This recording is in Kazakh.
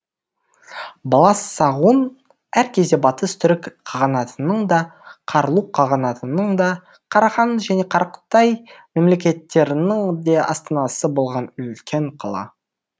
баласағұн әр кезде батыс түрік қағанатының да қарлұқ қағанатының да қарахан және қарақытай мемлекеттерінің де астанасы болған үлкен қала